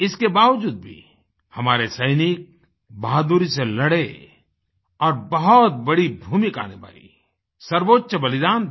इसके बावजूद भी हमारे सैनिक बहादुरी से लड़े और बहुत बड़ी भूमिका निभाई सर्वोच्य बलिदान दिया